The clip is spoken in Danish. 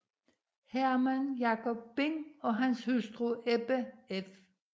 Herman Jacob Bing og hustru Ebba f